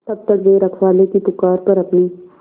तब तक वे रखवाले की पुकार पर अपनी